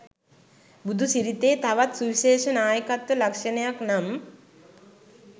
බුදුසිරිතේ තවත් සුවිශේෂ නායකත්ව ලක්‍ෂණයක් නම්